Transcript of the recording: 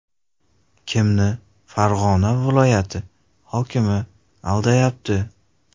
Kimni Farg‘ona viloyati hokimi aldayapti?